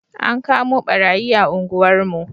An kamo ɓarayi a unguwar mu